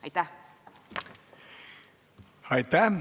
Aitäh!